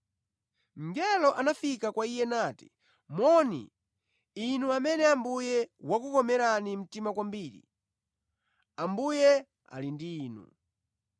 Mngeloyo anafika kwa iye nati, “Moni, inu amene Ambuye wakukomerani mtima kwambiri! Ambuye ali ndi inu.”